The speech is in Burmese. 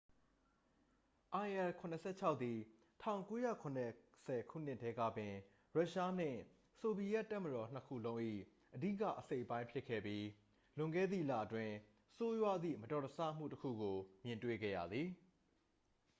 il-76 သည် 1970 ခုနှစ်တည်းကပင် ရုရှားနှင့် ဆိုဗီယက်တပ်မတော်နှစ်ခုလုံး၏ အဓိကအစိတ်အပိုင်းဖြစ်ခဲ့ပြီး လွန်ခဲ့သည့်လအတွင်း ဆိုးရွားသည့် မတော်တဆမှုတစ်ခုကို မြင်တွေ့ခဲ့ရသည်